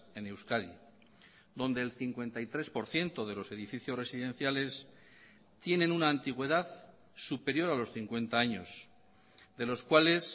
en euskadi donde el cincuenta y tres por ciento de los edificios residenciales tienen una antigüedad superior a los cincuenta años de los cuales